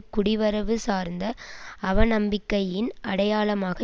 குடிவரவு சார்ந்த அவநம்பிக்கையின் அடையாளமாக